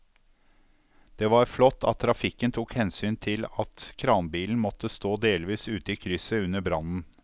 Det var flott at trafikken tok hensyn til at kranbilen måtte stå delvis ute i krysset under brannen.